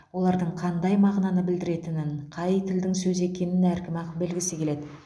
олардың қандай мағынаны білдіретінін қай тілдің сөзі екенін әркім ақ білгісі келеді